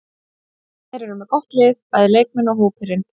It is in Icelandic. Þeir eru með gott lið, bæði leikmenn og hópurinn.